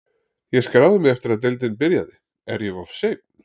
Ég skráði mig eftir að deildin byrjaði, er ég of seinn?